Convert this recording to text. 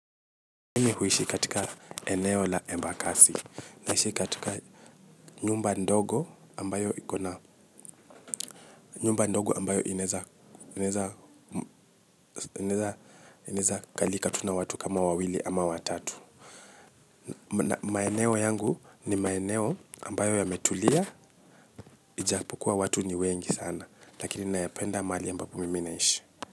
Mimi huishi katika eneo la embakasi. Naishi katika nyumba ndogo ambayo iko na nyumba ndogo ambayo inaweza inaweza kalika tu na watu kama wawili ama watatu. Maeneo yangu ni maeneo ambayo yametulia, ijapokuwa watu ni wengi sana. Lakini ninapenda mahali ambapo mimi ninaishi.